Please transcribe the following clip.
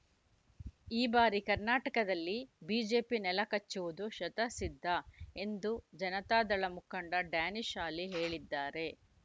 ಈ ಬಾರಿ ಕರ್ನಾಟಕದಲ್ಲಿ ಬಿಜೆಪಿ ನೆಲಕಚ್ಚುವುದು ಶತಸಿದ್ಧ ಎಂದು ಜನತಾದಳ ಮುಖಂಡ ಡ್ಯಾನಿಶ್‌ ಅಲಿ ಹೇಳಿದ್ದಾರೆ